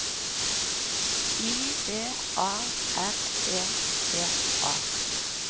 I V A R E T A